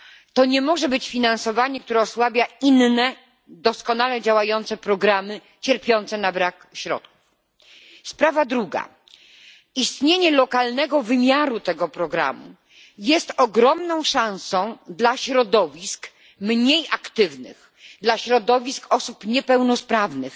To nie może być finansowanie, które osłabia inne doskonale działające programy cierpiące na brak środków. Sprawa druga istnienie lokalnego wymiaru tego programu jest ogromną szansą dla środowisk mniej aktywnych, dla środowisk osób niepełnosprawnych,